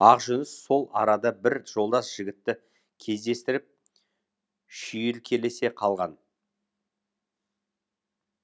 ақжүніс сол арада бір жолдас жігітті кездестіріп шүйіркелесе қалған